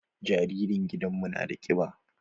Jaririn gidan mu nada ƙiba.